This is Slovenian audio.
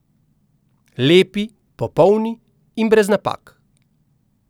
Lepi, popolni in brez napak ...